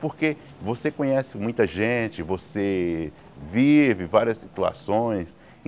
Porque você conhece muita gente, você vive várias situações.